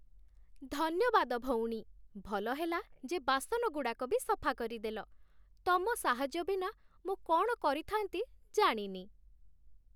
ଧନ୍ୟବାଦ, ଭଉଣୀ, ଭଲ ହେଲା ଯେ ବାସନଗୁଡ଼ାକ ବି ସଫା କରିଦେଲ । ତମ ସାହାଯ୍ୟ ବିନା ମୁଁ କ'ଣ କରିଥା'ନ୍ତି ଜାଣିନି ।